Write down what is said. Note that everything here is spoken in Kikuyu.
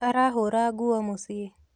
Arahũra nguo mũciĩ